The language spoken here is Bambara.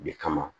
De kama